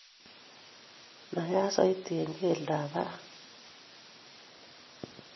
Naiyat soiti eng' keldab baraak